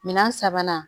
Minɛn sabanan